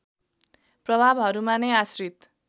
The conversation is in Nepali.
प्रभावहरूमा नै आश्रित